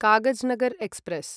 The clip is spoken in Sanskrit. कागजनगर् एक्स्प्रेस्